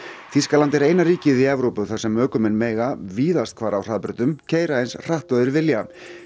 Þýskaland er eina ríkið í Evrópu þar sem ökumenn mega víðast hvar á hraðbrautum keyra eins hratt og þeir vilja